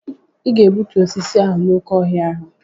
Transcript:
Ịga egbutu osisi ahụ no na oké ọhịa ahụ!